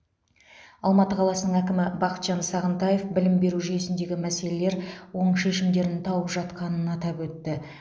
алматы қаласының әкімі бақытжан сағынтаев білім беру жүйесіндегі мәселелер оң шешімдерін тауып жатқанын атап өтті